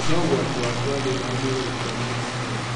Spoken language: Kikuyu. No ugwati waku wa thĩna wa mwĩrĩ gũkua mwena ũmwe